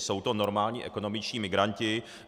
Jsou to normální ekonomičtí migranti.